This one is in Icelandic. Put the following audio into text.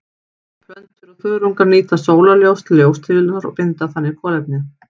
Plöntur og þörungar nýta sólarorka til ljóstillífunar og binda þannig kolefni.